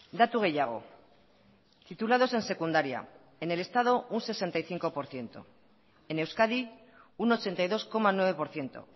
datu gehiago titulados en secundaria en el estado un sesenta y cinco por ciento en euskadi un ochenta y dos coma nueve por ciento